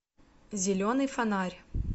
зеленый фонарь